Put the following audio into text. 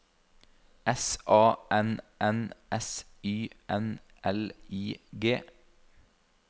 S A N N S Y N L I G